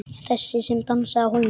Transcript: Þessi sem dansaði á hólnum.